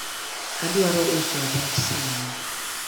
adwaro uso rech sani